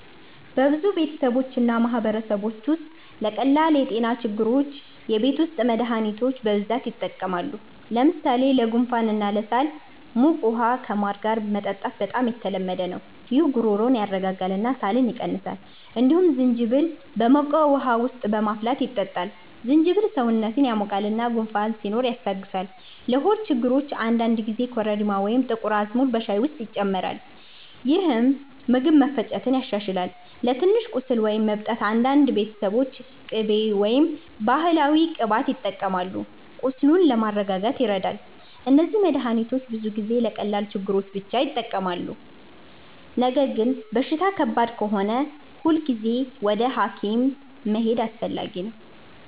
በብዙ ቤተሰቦች እና ማህበረሰቦች ውስጥ ለቀላል የጤና ችግሮች የቤት ውስጥ መድሃኒቶች በብዛት ይጠቀማሉ። ለምሳሌ ለጉንፋን እና ለሳል ሞቅ ውሃ ከማር ጋር መጠጣት በጣም የተለመደ ነው። ይህ ጉሮሮን ያስረጋጋል እና ሳልን ይቀንሳል። እንዲሁም ዝንጅብል በሞቅ ውሃ ውስጥ በማፍላት ይጠጣል። ዝንጅብል ሰውነትን ያሞቃል እና ጉንፋን ሲኖር ያስታግሳል። ለሆድ ችግሮች አንዳንድ ጊዜ ኮረሪማ ወይም አዝሙድ በሻይ ውስጥ ይጨመራል፣ ይህም ምግብ መፈጨትን ያሻሽላል። ለትንሽ ቁስል ወይም እብጠት አንዳንድ ቤተሰቦች ቅቤ ወይም ባህላዊ ቅባት ይጠቀማሉ፣ ቁስሉን ለማስረጋጋት ይረዳል። እነዚህ መድሃኒቶች ብዙ ጊዜ ለቀላል ችግሮች ብቻ ይጠቅማሉ። ነገር ግን በሽታ ከባድ ከሆነ ሁልጊዜ ወደ ሐኪም መሄድ አስፈላጊ ነው።